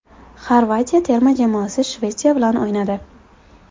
Xorvatiya terma jamoasi Shvetsiya bilan o‘ynadi.